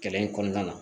Kɛlɛ in kɔnɔna na